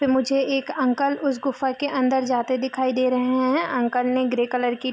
मुझे एक अंकल उस गुफा के अंदर जाते दिखाई दे रहे हैं अंकल ने ग्रे कलर की --